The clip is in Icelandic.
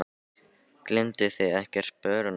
Gleymduð þið ekkert sporunum?